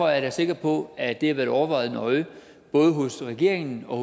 jeg da sikker på at det har været overvejet nøje både i regeringen og